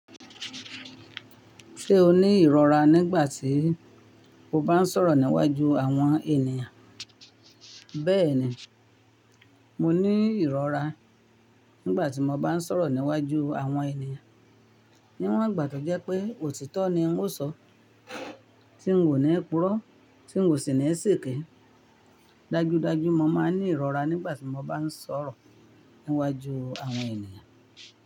Ṣé o ní ìrọra nígbà tí o bá ń sọ̀rọ̀ níwájú àwọn ènìyàn? Bẹ́ẹ̀ni, mo ní ìrora nígbà tí mo bá ń sọ̀rọ̀ níwájú àwọn ènìyàn. Níwọ̀n ìgbà tó jẹ́ pé òtítọ́ ni n ó sọ, tí n ò ní purọ́, tí n ò sì ní ṣèkèé. Dájúdájú mo máa ń ní ìrọra nígbà tí mo bá ń sọ̀rọ̀ níwájú àwọn ènìyàn.